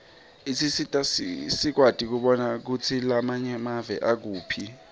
isisita sikwati kubona kutsi lamanye emave akuphi